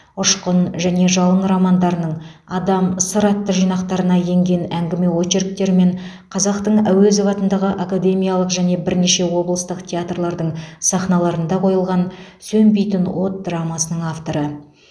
ұшқын және жалын романдарының адам сыр атты жинақтарына енген әңгіме очерктері мен қазақтың әуезов атындағы академиялық және бірнеше облыстық театрлардың сахналарында қойылған сөнбейтін от драмасының авторы